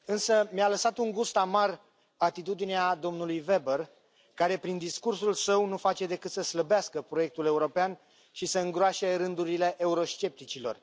Însă mi a lăsat un gust amar atitudinea domnului Weber, care, prin discursul său, nu face decât să slăbească proiectul european și să îngroașe rândurile euroscepticilor.